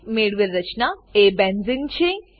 મેળવેલ રચના એ બેન્ઝેને છે